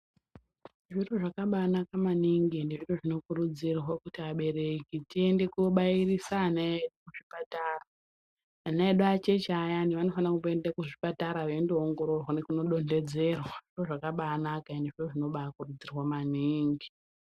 Zviro zvakabaanaka maningi, ende zviro zvinokurudzirwa kuti abereki tiende kobairisa ana edu kuzvipatara. Ana edu acheche ayana vanofana kumboenda kuzvipatara ,veindoongororwa nekundodontedzerwa. Zviro zvakanaka, ende zviro zvinobaakurudzirwa maningi.